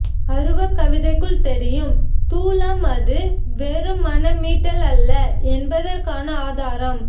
அருவக் கவிதைக்குள் தெரியும் தூலம் அது வெறும் மன மீட்டலல்ல என்பதற்கான ஆதாரம்